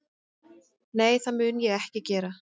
Nei, það mun ég ekki gera